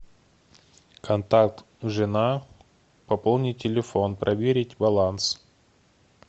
контакт жена пополнить телефон проверить баланс